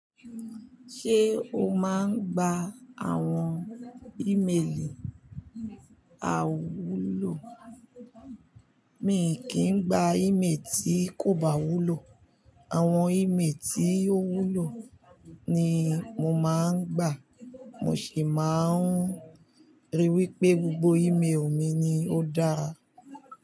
Ṣé o máa ń gba àwọn ímeèlì àiwúlò? Mi kì í gba ímeèlì tí kò bá wúlò. Àwọn ímeèlì tí ó wúlò ni mo máa ń gbà. Mo sì máa ń ríi wí pé gbogbo ímeèlì mi ni ó dára.